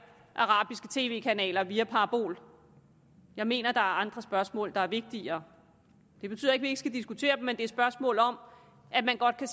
arabiske tv kanaler via parabol jeg mener at der andre spørgsmål der er vigtigere det betyder ikke ikke skal diskutere dem men det er spørgsmål om at man godt kan